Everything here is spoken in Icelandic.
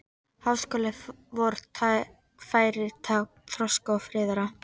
Háskóli vor væri tákn þroska og friðar.